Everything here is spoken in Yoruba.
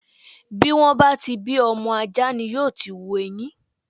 Bí wọ́n bá ti bí ọmọ ajá ni yóò ti hu eyin.